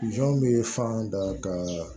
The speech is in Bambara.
Jɔn be fan da ka